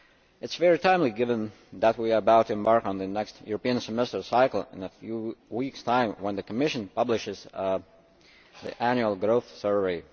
It is very timely, given that we are about to embark on the next European Semester cycle in a few weeks' time when the Commission publishes the Annual Growth Survey.